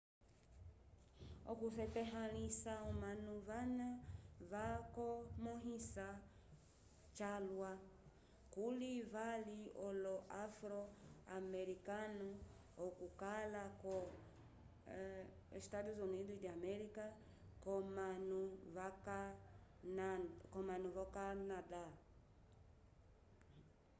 okusetahãlisa omanu vana vakomõhisa calwa kuli vali olo-afro-amerikanu okukala ko eua k'omanu v'okanada